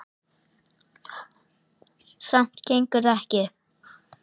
Samt gengur það ekki upp.